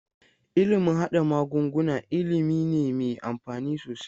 Ilimin haɗa magunguna ilimi ne me amfani sosai.